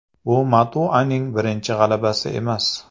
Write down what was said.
Bu Matuaning birinchi g‘alabasi emas.